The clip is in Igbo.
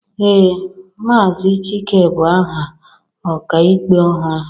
ee, Maazị Chike bụ aha ọkaikpe ọhụrụ